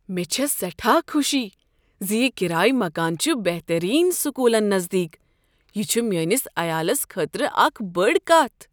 مےٚ چھےٚ سٮ۪ٹھاہ خوشی ز یہ کرایہ مکان چھ بہتٔریٖن سکوٗلن نزدیٖک۔ یہ چھ میٛٲنس عیالس خٲطرٕ اکھ بٔڑ کتھ۔